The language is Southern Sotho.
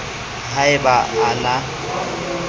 ha e ba a na